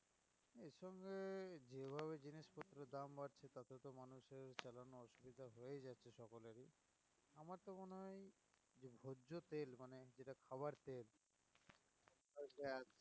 এটা সবার তেল